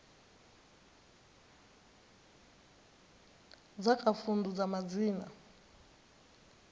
dza kha vundu dza madzina